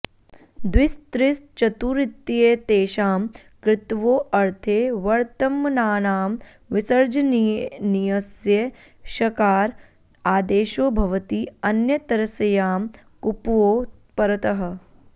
द्विस् त्रिस् चतुरित्येतेषां कृत्वो ऽर्थे वर्तमनानां विसर्जनीयस्य षकार आदेशो भवति अन्यतरस्यां कुप्वोः परतः